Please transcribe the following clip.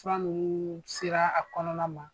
Fura nunun sera a kɔnɔna ma